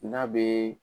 N'a bɛ